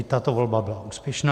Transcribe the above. I tato volba byla úspěšná.